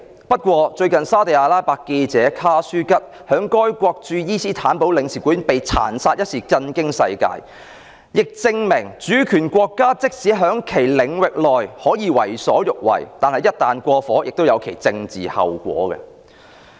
不過，最近沙特阿拉伯記者卡舒吉在該國駐伊斯坦堡領事館被殘殺一事，震驚世界，亦證明主權國家即使在其領域內可以為所欲為，但一旦過火，亦有其政治後果。